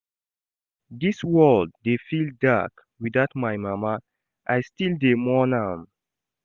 Dis world dey feel dark witout my mama, I still dey mourn am.